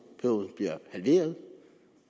bliver halveret